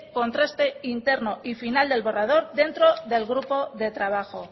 contraste interno y final del borrador dentro del grupo de trabajo